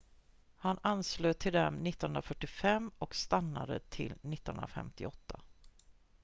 han anslöt till dem 1945 och stannade till 1958